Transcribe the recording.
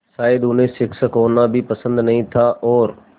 शायद उन्हें शिक्षक होना भी पसंद नहीं था और